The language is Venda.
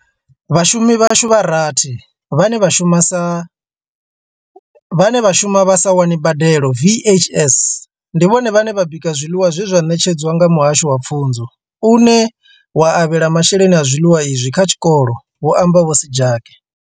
Vhashumi vhashu vha rathi vhane vha shuma vha sa wani mbadelo VHS, ndi vhone vhane vha bika zwiḽiwa zwe zwa ṋetshedzwa nga Muhasho wa Pfunzo une wa avhela masheleni a zwiḽiwa izwi kha tshikolo, hu amba Vho Sejake.